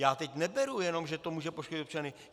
Já teď neberu, jenom že to může poškodit občany.